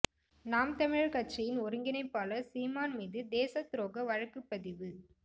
நாம் தமிழர் கட்சியின் ஒருங்கிணைப்பாளர் சீமான் மீது தேசத் துரோக வழக்குப்பதிவு